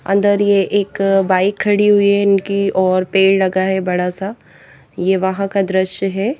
अंदर ये एक बाइक खड़ी हुई है इनकी और पेड़ लगा है बड़ा सा ये वहां का दृश्य है।